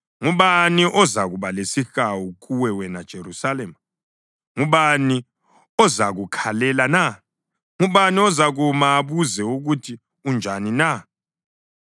Ngubani ozakuba lesihawu kuwe wena Jerusalema? Ngubani ozakukhalela na? Ngubani ozakuma abuze ukuthi unjani na?